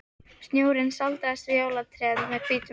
Snjórinn sáldrast yfir jólatré með hvítum ljósum.